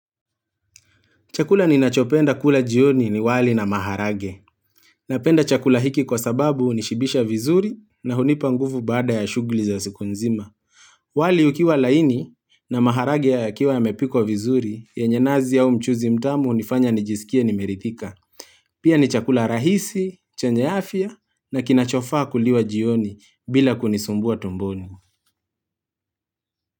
Chakula ninachopenda kula jioni ni wali na maharage. Napenda chakula hiki kwa sababu unishibisha vizuri na hunipa ngufu baada ya shughuli za siku nzima. Wali ukiwa laini na maharage yakiwa yamepikwa vizuri, yenye nazi au mchuzi mtamu unifanya nijisikie nimeridhika. Pia ni chakula rahisi, chenye afia na kinachofaa kuliwa jioni bila kunisumbua tumboni.